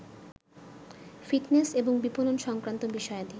fitness এবং বিপনন সংক্রান্ত বিষয়াদি